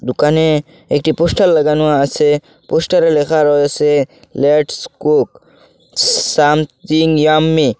দোকানে একটি পোস্টার লাগানো আছে পোস্টারে লেখা রয়েছে লেটস কুক সামথিং ইয়াম্মি ।